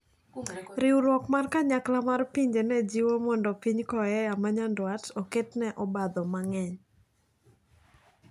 Riwruok mar kanyakla mar pinje nejiwo ni mondo piny Koea manyandwat oketne obadho mang`eny.